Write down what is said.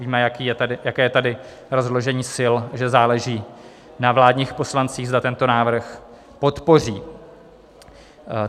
Víme, jaké je tady rozložení sil, že záleží na vládních poslancích, zda tento návrh podpoří.